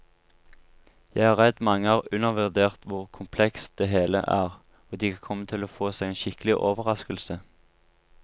Jeg er redd mange har undervurdert hvor komplekst det hele er, og de kan komme til å få seg en skikkelig overraskelse.